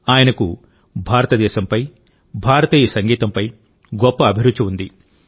ఆయనకు భారతదేశంపైభారతీయ సంగీతంపై గొప్ప అభిరుచి ఉంది